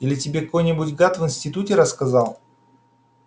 или тебе какой-нибудь гад в институте рассказал